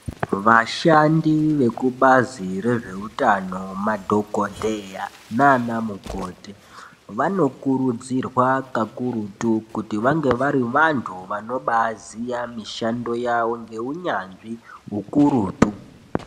Vashandi vekubhazi rezvehutano, madhokoteya nanamukoti vanokurudzirwa kakurutu kuti vange varivantu vanobaziya mishando yawo ngewunyazvi wukurutu.